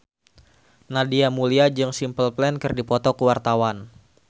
Nadia Mulya jeung Simple Plan keur dipoto ku wartawan